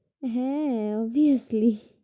হ্যাঁ, obviously